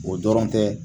O dɔrɔn tɛ